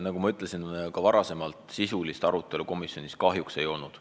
Nagu ma juba ütlesin, sisulist arutelu komisjonis kahjuks ei olnud.